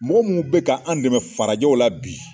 Mɔgɔ mu be k'an dɛmɛ farajɛw la bi